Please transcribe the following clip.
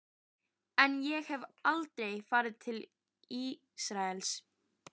En ég hef aldrei farið til Ísraels.